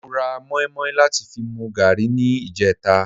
Mo ra mọ́ímọ́í láti fi mu gààrí ní ìjẹta